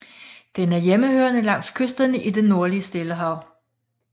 Den er hjemmehørende langs kysterne i det nordlige Stillehav